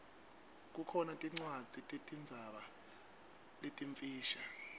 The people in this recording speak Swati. kukhona tincwadzi tetinzaba letimfisha